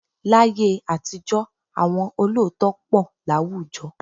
Láyé àtijọ́ àwọn olóòótọ́ pọ̀ láwùjọ